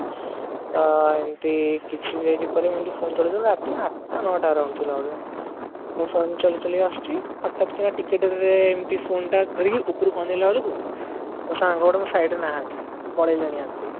ତ ଏମିତି କିଛି ଦିନ ପରେ ମୁଁ ଏମିତି phone ଚଲଉ ଚଲଉ ତଯୋ ଆଠଟା ନଅ ଟା around ଥିଲା ବୋଧେ ମୁଁ phone ଚଳେଇ ଚଳେଇ ଆସୁଛି ହଠାତ କିନା ଟିକେ ଡେରିରେ ଏମିତି phone ଟା ଧରିକି ଉପରକୁ ଅନେଇଲା ବେଳ କୁ ସାଙ୍ଗ ଗୁଡାକ ମୋ side ରେ ନାହାନ୍ତି ପଳେଇଲେଣି ଆଗକୁ